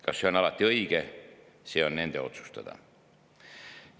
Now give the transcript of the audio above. Kas see on alati õige, on nende otsustada.